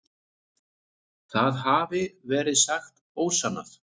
Það hafi verið sagt ósannað.